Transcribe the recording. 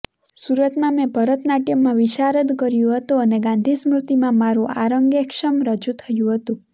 સુરતમાં મેં ભરત નાટયમમાં વિશારદ કર્યું હતું અને ગાંધીસ્મૃતિમાં મારું આરંગેક્ષમ રજૂ થયું હતું